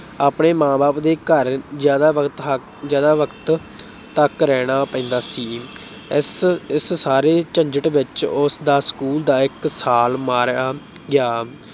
ਆਪਣੇ ਮਾਂ-ਬਾਪ ਦੇ ਘਰ ਜ਼ਿਆਦਾ ਵਕਤ ਅਹ ਜ਼ਿਆਦਾ ਵਕਤ ਤੱਕ ਰਹਿਣਾ ਪੈਂਦਾ ਸੀ। ਇਸ ਇਸ ਸਾਰੇ ਝੰਜਟ ਵਿੱਚ ਉਸਦਾ school ਦਾ ਇੱਕ ਸਾਲ ਮਾਰਿਆ ਗਿਆ।